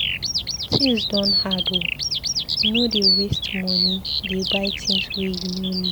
Tins don hard o, no dey waste moni dey buy tins wey you no need.